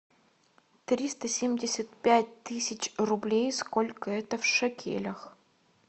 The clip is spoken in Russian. триста семьдесят пять тысяч рублей сколько это в шекелях